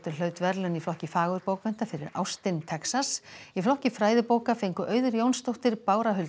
hlaut verðlaun í flokki fagurbókmennta fyrir ástin Texas í flokki fræðibóka fengu Auður Jónsdóttir Bára Huld